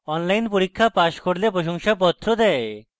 online পরীক্ষা pass করলে প্রশংসাপত্র দেয়